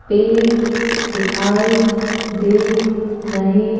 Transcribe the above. पेड़ दिखाई दे रहे --